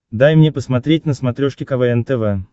дай мне посмотреть на смотрешке квн тв